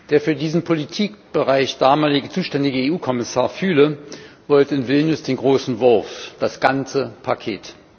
Der für diesen Politikbereich damals zuständige EU Kommissar Füle wollte in Vilnius den großen Wurf, das ganze Paket.